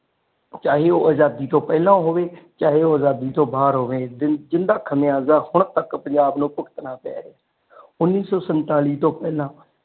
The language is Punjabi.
ਚਾਹੇ ਉਹ ਆਜ਼ਾਦੀ ਤੂੰ ਪਹਿਲਾ ਹੋਵੇ ਚਾਹੇ ਉਹ ਆਜ਼ਾਦੀ ਤੋਂ ਬਾਰ ਹੋਵੇ ਜਿਨ੍ਹਾਂ ਖਮਿਆਜਾ ਹੁਣ ਤਕ ਪੰਜਾਬ ਨੂੰ ਭੁਗਤਨਾ ਪਿਆ ਹੈ ਉੰਨੀ ਸੋ ਸੰਤਾਲੀ ਤੂੰ ਪਹਿਲਾ।